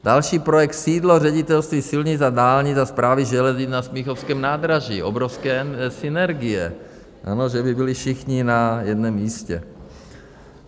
Další projekt - sídlo Ředitelství silnic a dálnic a Správy železnic na Smíchovském nádraží, obrovské synergie, ano, že by byli všichni na jednom místě.